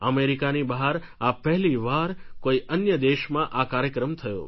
અમેરિકાની બહાર આ પહેલી વાર કોઈ અન્ય દેશમાં આ કાર્યક્રમ થયો